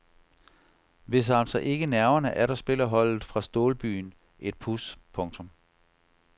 Hvis altså ikke nerverne atter spiller holdet fra stålbyen et puds. punktum